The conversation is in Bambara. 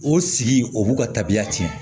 O sigi o b'u ka tabiya tiɲɛ